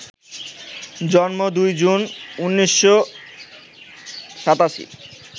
জন্ম ২ জুন, ১৯৮৭